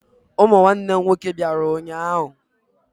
Ụmụ nwanne m nwoke bịara ụnyaahụ.